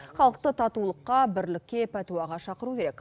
халықты татулыққа бірлікке пәтуаға шақыру керек